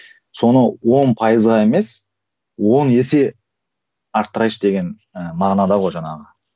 соны он пайызға емес он есе арттырайыншы деген ііі мағынада ғой жаңағы